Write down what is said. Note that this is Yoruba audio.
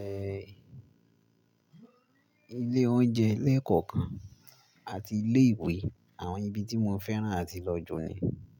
ehn, ilé oúnjẹ lẹ́ẹ̀kọ̀kan àti ilé ìwé. Àwọn ibi tí mo fẹ́ràn àti lọ jù ni.